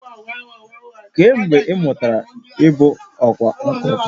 Kee mgbe ị mụtara ịbụ ọkwá nkà?